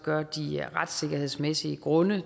gør de retssikkerhedsmæssige grunde